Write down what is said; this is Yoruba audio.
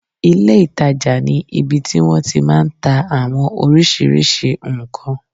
Ilé ìtajà ní ibi tí wọ́n ti máa n ta àwọn oriṣiríṣi ǹkan